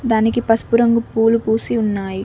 దానికి పసుపు రంగు పూలు పూసి ఉన్నాయి.